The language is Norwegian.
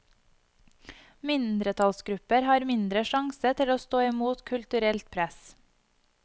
Mindretallsgrupper hadde mindre sjanse til å stå imot kulturelt press.